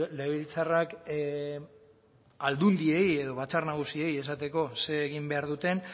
legebiltzarrak aldundiei edo batzar nagusiei esateko zer egin behar duten